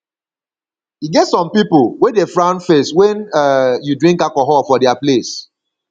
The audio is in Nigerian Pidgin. e get some people wey dey frown face wen um you drink alcohol for their place